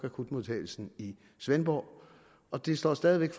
akutmodtagelsen i svendborg og det står stadig væk